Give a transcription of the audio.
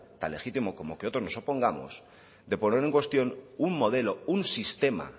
tan legítimo como que otros nos opongamos de poner en cuestión un modelo un sistema